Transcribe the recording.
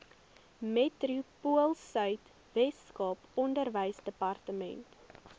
metropoolsuid weskaap onderwysdepartement